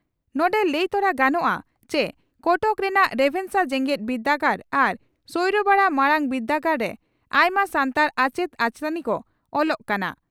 ᱱᱚᱰᱮ ᱞᱟᱹᱭᱛᱚᱨᱟ ᱜᱟᱱᱚᱜᱼᱟ ᱪᱤ ᱠᱚᱴᱚᱠ ᱨᱮᱱᱟᱜ ᱨᱮᱵᱷᱮᱱᱥᱟ ᱡᱮᱜᱮᱛ ᱵᱤᱨᱫᱟᱹᱜᱟᱲ ᱟᱨ ᱥᱚᱭᱲᱟᱵᱟᱲᱟ ᱢᱟᱨᱟᱝ ᱵᱤᱨᱫᱟᱹᱜᱟᱲᱨᱮ ᱟᱭᱢᱟ ᱥᱟᱱᱛᱟᱲ ᱟᱪᱮᱛ ᱟᱪᱮᱛᱟᱹᱱᱤ ᱠᱚ ᱚᱞᱚᱜ ᱠᱟᱱᱟ ᱾